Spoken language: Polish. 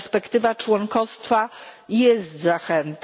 Perspektywa członkostwa jest zachętą.